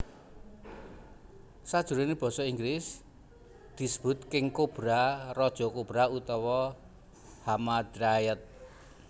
Sajroné basa Inggris disebut king cobra raja kobra utawa hamadryad